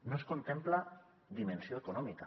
no es contempla dimensió econòmica